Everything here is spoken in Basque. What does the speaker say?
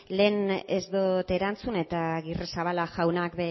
lehen ez dut erantzun eta agirrezabala jaunak